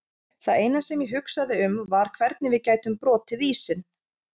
Það eina sem ég hugsaði um var hvernig við gætum brotið ísinn.